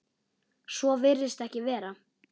Svo virðist ekki vera.